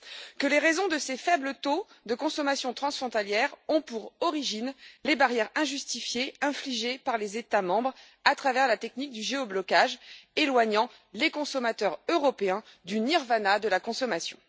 Que les raisons de ces faibles taux de consommation transfrontalière ont pour origine les barrières injustifiées infligées par les États membres à travers la technique du géoblocage, éloignant les consommateurs européens du nirvana de la consommation.